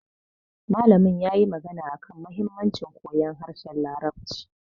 Malamin yayi magana akan muhimmancin koyon harshen larabci